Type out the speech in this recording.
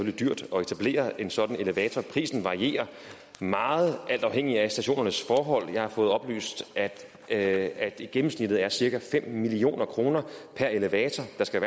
er dyrt at etablere en sådan elevator prisen varierer meget alt afhængig af stationernes forhold jeg har fået oplyst at gennemsnittet er cirka fem million kroner per elevator og der skal